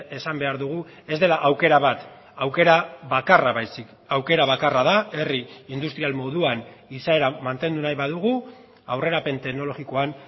esan behar dugu ez dela aukera bat aukera bakarra baizik aukera bakarra da herri industrial moduan izaera mantendu nahi badugu aurrerapen teknologikoan